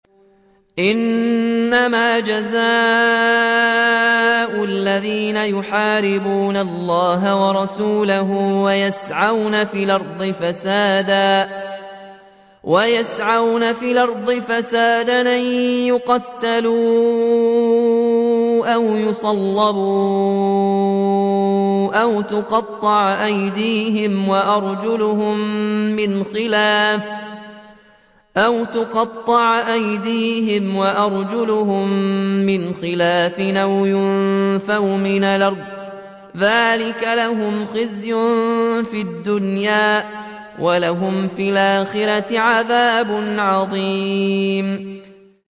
إِنَّمَا جَزَاءُ الَّذِينَ يُحَارِبُونَ اللَّهَ وَرَسُولَهُ وَيَسْعَوْنَ فِي الْأَرْضِ فَسَادًا أَن يُقَتَّلُوا أَوْ يُصَلَّبُوا أَوْ تُقَطَّعَ أَيْدِيهِمْ وَأَرْجُلُهُم مِّنْ خِلَافٍ أَوْ يُنفَوْا مِنَ الْأَرْضِ ۚ ذَٰلِكَ لَهُمْ خِزْيٌ فِي الدُّنْيَا ۖ وَلَهُمْ فِي الْآخِرَةِ عَذَابٌ عَظِيمٌ